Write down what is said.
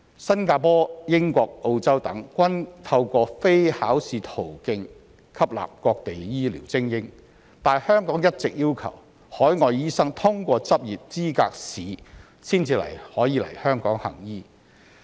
新加坡、英國、澳洲等，均透過非考試途徑吸納各地醫療精英，但香港一直要求海外醫生通過執業資格試才能來港行醫。